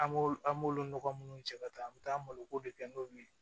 An b'olu an b'olu nɔgɔ munnu cɛ ka taa an bɛ taa maloko de kɛ n'u ye